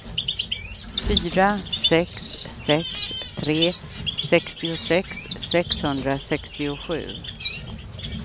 fyra sex sex tre sextiosex sexhundrasextiosju